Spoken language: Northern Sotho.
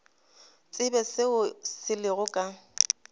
tsebe seo se lego ka